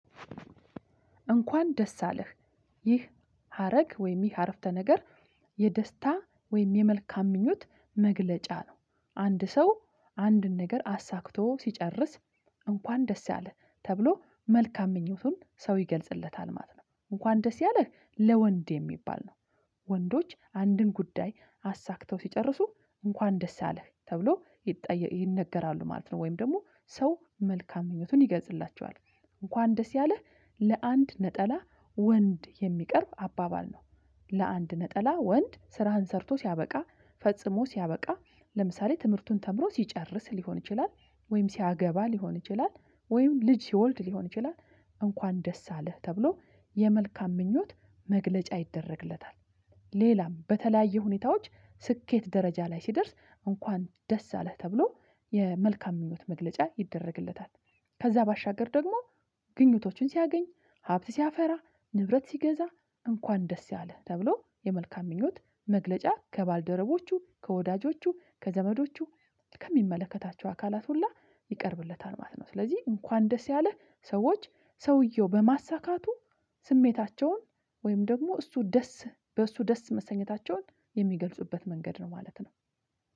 እንኳን ደስ አለህ ይህ ሀረግ ወይም ይህ አረፍተ ነገር የደስታ ወይም የመልካም ምኞት መግለጫ ነው አንድ ሰው አንድን ነገር አሳክቶ ሲጨርስ እንኳን ደስ ያለህ ተብሎ መልካም ምኞቱን ሰው ይገልጽለታል ማለት ነው እንኳን ደስ ያለህ ለወንድ የሚባል ነው። ወንዶች አንድን ጉዳይ አሳክተው ሲጨርሱ እንኳን ደስ አለህ ተብሎ ይጠ ይነገራሉ ማለት ነው ወይም ደግሞ ሰው መልካም ምኞቱን ይገዝላቸዋል እንኳን ደስ ያለ ለአንድ ነጠላ ወንድ የሚቀርብ አባባል ነው። ለአንድ ነጠላ ወንድ ስራህን ሰርቶ ሲያበቃ ፈጽሞ ሲያበቃ ለምሳሌ ትምህርቱን ተምሮ ሲጨርስ ሊሆን ይችላል ወይም ሲያገባ ሊሆን ይችላል ወይም ልጅ ሲወልድ ሊሆን ይችላል እንኳን ደስ አለህ ተብሎ የመልካም ምኞት መግለጫ ይደረግለታል። ሌላም በተለያየ ሁኔታዎች ስኬት ደረጃ ላይ ሲደርስ እንኳን ደስ አለህ ተብሎ የመልካም ምኞት መግለጫ ይደረግለታል። ከዛ ባሻገር ደግሞ ግኝቶችን ሲያገኝ ሀብት ሲያፈራ ንብረት ሲገዛ እንኳን ደስ ያለህ ተብሎ የመልካም ምኞት መግለጫ ከባልደረቦቹ ከወዳጆቹ ከዘመዶቹ ከሚመለከታቸው አካላት ሁላ ይቀርብለታል ማለት ነው። ስለዚህ እንኳን ደስ ያለ ሰዎች ሰውየው በማሳካቱ ስሜታቸውን ወይም ደግሞ እሱ ደስ በእሱ ደስ መሰኘታቸውን የሚገልጹበት መንገድ ነው ማለት ነው።